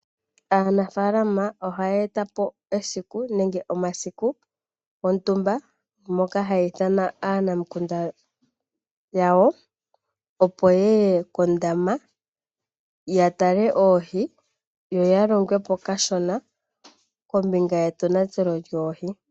Aanafalama ohaya etapo esiku, nenge omasiku gontumba, moka haya ithana aanamukunda yawo, yatale oohi, yo yalongwepo kashona, kombinga yetonatelo lyoohi.